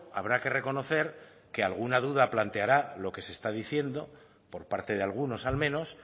habrá que reconocer que alguna duda planteará lo que se está diciendo por parte de algunos al menos